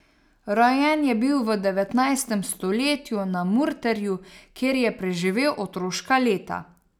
Rojen je bil v devetnajstem stoletju na Murterju, kjer je preživel otroška leta.